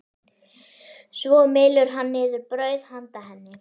Svo mylur hann niður brauð handa henni.